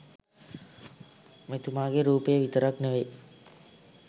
මෙතුමාගේ රූපය විතරක් නෙවෙයි